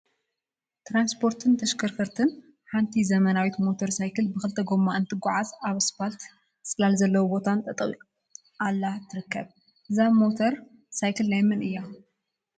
ትራንስፖርትን ተሽከርከርቲን ሓንቲ ዘመናዊት ሞተር ሳይክል ብክልተ ጎማ እንትጓዓዝ አብ እስፓልትን ፅላል ዘለዎ ቦታን ጠጠወ አላ ትርከብ፡፡ እዛ ሞተረ ሳይክል ናይ መን እያ?